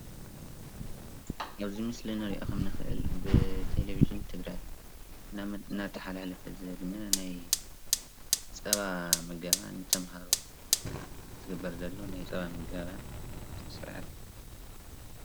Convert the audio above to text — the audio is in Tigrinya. ኣብዚ ምስሊ ንሪኦ ከም እንክእል ብቴሌቭዥን ትግራይ እናተሓላለፈ ዝግነ ናይ ፀባ ምገባ ንተማሃሮ ዝገበር ዘሎ ናይ ፀባ ምገባ ስርዓት እዩ፡፡